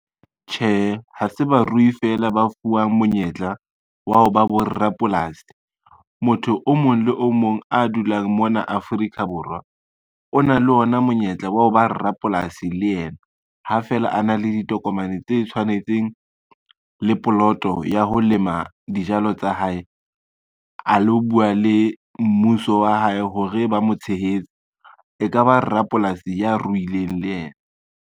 Tjhehe, ha se barui fela ba fuwang monyetla wa ho ba borapolasi. Motho o mong le o mong a dulang mona Afrika Borwa o na le ona monyetla wa ho ba rapolasi le ena. Ha feela a na le ditokomane tse tshwanetseng le poloto ya ho lema dijalo tsa hae, a lo bua le mmuso wa hae hore ba mo tshehetse, e ka ba rapolasi ya ruileng le yena.